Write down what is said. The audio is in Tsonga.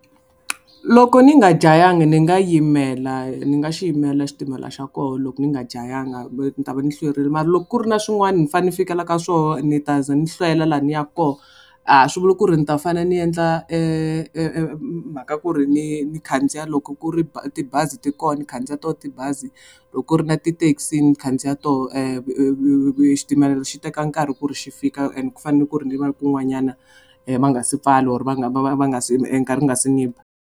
Loko ni nga jahanga ni nga yimela ni nga xi yimela xitimela xa koho loko ni nga jahanga ni ta va ndzi hlwerile mara loko ku ri na swin'wana ni fanele ni fikela ka swoho ni ta ze ni hlwela laha ni ya koho a swi vuli ku ri ni ta fanele ni endla mhaka ku ri ni ni khandziya loko ku ri tibazi ti kona ni khandziya to tibazi loko ku ri na ti-taxi ni khandziya toho xitimela xi teka nkarhi ku ri xi fika and ku fanele ku ri ni va kun'wanyana ma nga si pfala or va nga nga si nkarhi wu nga si ni ba.